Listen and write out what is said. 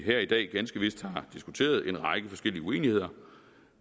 her i dag ganske vist har diskuteret en række forskellige uenigheder